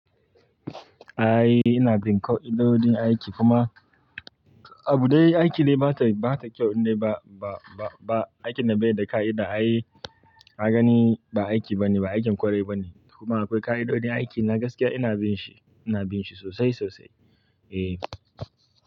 Ai ina bin ƙa'idodin aiki kuma abu dai aiki ne ba ta, ba ta kyau ne ba, ba, ba, ba, aikin da bai da ka'ida ai ka gani ba aiki bane, ba aikin ƙwarai bane. Kuma akwai ƙa'idodin aiki na gaskiya ina bin shi, ina bin shi sosai sosai. Eh.